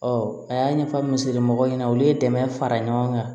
a y'a ɲɛfɔ musomɔgɔ ɲɛna olu ye dɛmɛ fara ɲɔgɔn kan